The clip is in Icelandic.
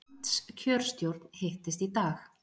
Landskjörstjórn hittist í dag